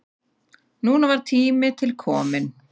Núna var tími til kominn.